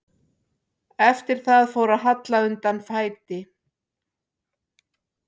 Eftir það fór að halla undan fæti.